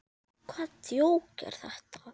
Hvaða djók er þetta?